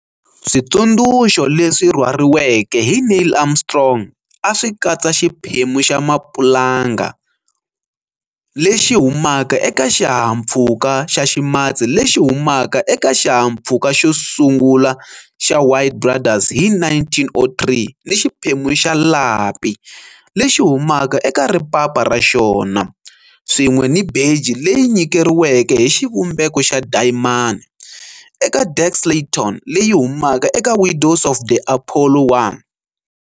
Switsundzuxo leswi rhwariweke hi Neil Armstrong a swi katsa xiphemu xa mapulanga lexi humaka eka xihahampfhuka xa ximatsi lexi humaka eka xihahampfhuka xo sungula xa Wright Brothers hi 1903 ni xiphemu xa lapi lexi humaka eka ripapa ra xona, swin'we ni beji leyi nyikeriweke hi xivumbeko xa dayimani eka Deke Slayton leyi humaka eka Widows of the Apollo 1.